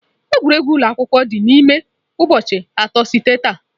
Egwuregwu ụlọ akwụkwọ anyị dị n'ime ụbọchị atọ site taa.